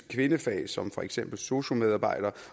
kvindefag som for eksempel sosu medarbejdere